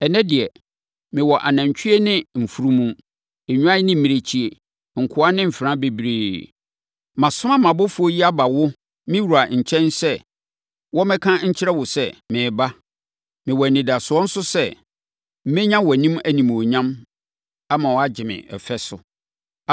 Ɛnnɛ deɛ, mewɔ anantwie ne mfunumu, nnwan ne mmirekyie, nkoa ne mfenaa bebree. Masoma mʼabɔfoɔ yi aba wo, me wura nkyɛn, sɛ wɔmmɛka nkyerɛ wo sɛ, mereba. Mewɔ anidasoɔ nso sɛ, mɛnya wʼanim animuonyam ama woagye me fɛ so.’ ”